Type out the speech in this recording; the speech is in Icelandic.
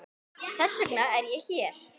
Þess vegna er ég hér.